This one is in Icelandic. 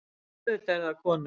Auðvitað eru það konur.